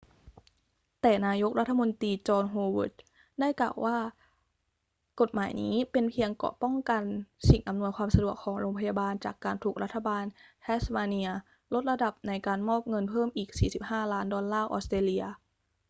แต่นายกรัฐมนตรีจอห์น โฮเวิร์ด ได้กล่าวว่า กฎหมายนี้เป็นเพียงเกราะป้องกันสิ่งอำนวยความสะดวกของโรงพยาบาลจากการถูกรัฐบาลแทสมาเนียลดระดับในการมอบเงินเพิ่มอีก 45 ล้านดอลลาร์ออสเตรเลีย